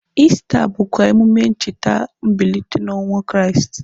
Ista bụkwa emume ịcheta mbilite n'ọnwa Kraịst.